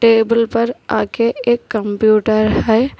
Table पर आगे एक कंप्यूटर है।